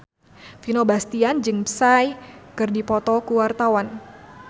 Vino Bastian jeung Psy keur dipoto ku wartawan